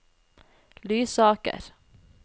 Lysaker